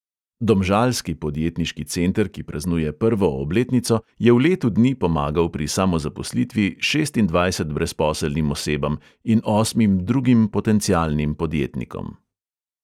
Domžalski podjetniški center, ki praznuje prvo obletnico, je v letu dni pomagal pri samozaposlitvi šestindvajset brezposelnim osebam in osmim drugim potencialnim podjetnikom.